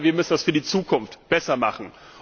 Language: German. Aber wir müssen das in der Zukunft besser machen.